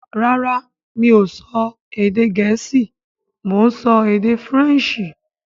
Rárá mi ò sọ èdè Gẹ̀ẹ́sì; Mo sọ Èdè Faransé